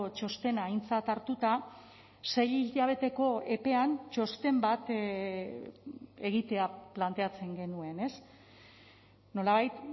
txostena aintzat hartuta sei hilabeteko epean txosten bat egitea planteatzen genuen nolabait